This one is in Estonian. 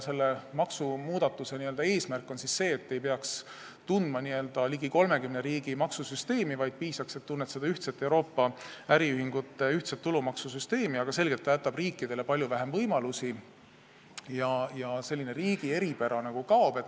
Selle maksumuudatuse eesmärk on siis see, et ei oleks vaja tunda ligi 30 riigi maksusüsteemi, vaid piisaks sellest, kui tuntakse Euroopa äriühingute ühtset tulumaksusüsteemi, aga selgelt jätab see riikidele palju vähem võimalusi ja riigi eripära nagu kaob.